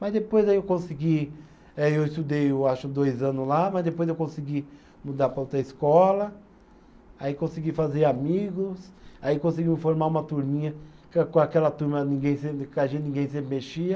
Mas depois aí eu consegui, eh eu estudei eu acho dois anos lá, mas depois eu consegui mudar para outra escola, aí consegui fazer amigos, aí conseguiu formar uma turminha, que com aquela turma ninguém sempre com a gente ninguém sempre mexia.